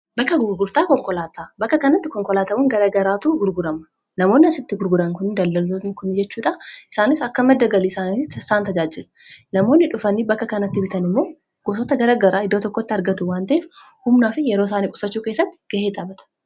bakka gurgurtaa konkolaata. bakka kanatti konkolaatawwan garagaraatu gurgurama namooni asitti gurguraan kun daldalota kunni jechuudha isaanis akka maddagalii isaanitti isaan tajaajila namoonni dhufanii bakka kanatti bitan immoo gosota garagaraa iddoo tokkotti argatu wan ta'ef humnaa fi yeroo isaanii qusachuu kessatti ga'ee xaabata